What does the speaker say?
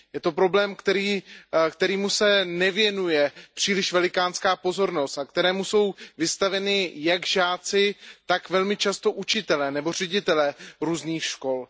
Je to problém, kterému se nevěnuje příliš velikánská pozornost a kterému jsou vystaveni jak žáci, tak velmi často učitelé nebo ředitelé různých škol.